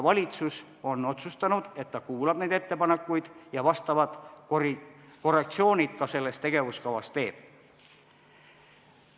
Valitsus on otsustanud, et ta kuulab neid ettepanekuid ja korrektsioonid selles tegevuskavas ka teeb.